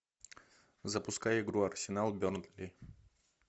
запускай игру арсенал бернли